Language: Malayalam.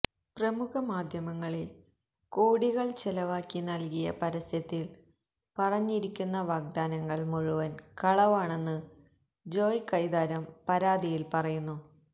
പ്രമുഖ മാദ്ധ്യമങ്ങളിൽ കോടികൾ ചെലവാക്കി നൽകിയ പരസ്യത്തിൽ പറഞ്ഞിരിക്കുന്ന വാഗ്ദാനങ്ങൾ മുഴുവൻ കളവാണെന്ന് ജോയ് കൈതാരം പരാതിയിൽ പറയുന്നു